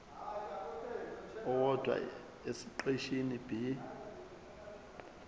owodwa esiqeshini b